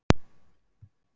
Varað við öflugu sólgosi